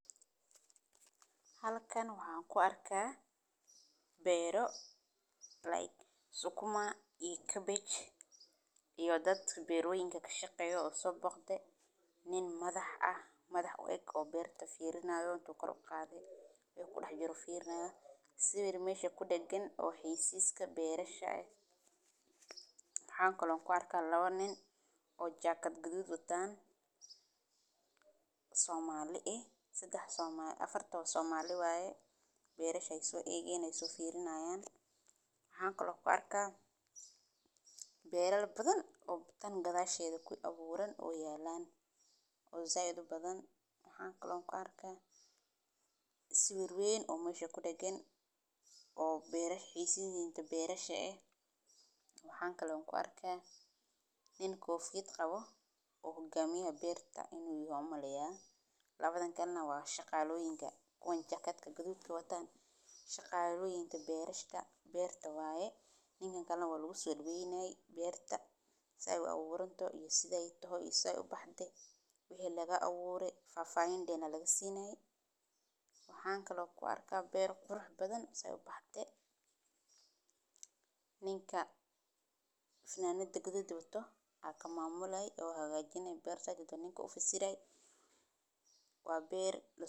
Hal kan waxaan ku arkaa beero Plague, isu kuma iyo Cabbage iyo dad beer wayniga ka shaqeyo soo boqde. Nin madax ah. Madax weeg oo beerta fiirinaayo oo karo qaadi way ku dhax jiro fiirinaaya si weeru meesha ku deggan oo xiisiska beerasha ay. Waxaan kaloo ku arkaa labo nin oo jakad gudub wataan. Soomaali ah. Sigax somaal. Afarta somali waaye beerashay soo eegaynaysa fiirinayaan. Waxaan kaloo ku arkaa beerar badan oo tan gadaashayda ku abuurin oo yaalaan oo Zayd badan. Waxaan kaloo ku arkaa si weerweeyn oo meesha ku deggan oo beerash xisiinta beerasha ah. Waxaan kaloo ku arkaa nin koof gidqabo u gamiyo beerta inuu yimaamo leeyahay. Labadan karnaa waa shaqaaloyinka kuwan jakadka gudubka wataan shaqaaloyinta beerashada beerta waaye. Nin karnaa waa lagu soo weynay beerta sae u abuurto iyo sida ay tahay iyo sae u baxdee. Wixii laga abuurey faahfaahin deena laga siinay. Waxaan kaloo ku arkaa beeru qurux badan sae u baxdee. Ninka finnaannada gudubta wataa haka maamulaya oo hagaajinaya beerta dadka ninka u fassiray. Waa beer la.